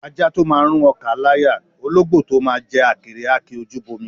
Ajá tó máa rún ọkà á láyà; ológbò tó máa jẹ àkèré á ki ojú bọ omi.